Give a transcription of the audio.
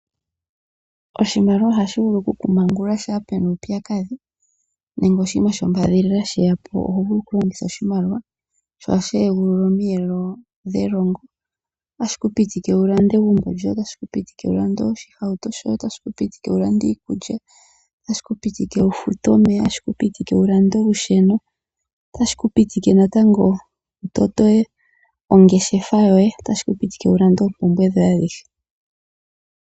Oshimaliwa ohashi vulu okukumangulula shampa pu na uupyakadhi nenge oshinima shombadhilila she ya po oho vulu okulongitha oshimaliwa. Ohashi egulula omiyelo dhelongo. Otashi ku pitika wu lande egumbo lyoye. Otashi ku pitika wu lande oshihauto shoye. Otashi ku pitika wu lande iikulya. Otashi ku pitika wu fute omeya. Otashi ku pitika wu lande olusheno. Otashi ku pitika natango wu tote ongeshefa yoye. Otashi ku pitika wu lande oompumbwe dhoye adhihe.